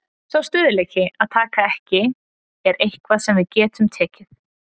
Sá stöðugleiki að taka ekki er eitthvað sem við getum tekið.